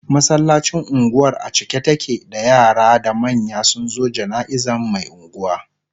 masallacin unguwar a cike take da yara da manya sunzo janaizan Mai unguwa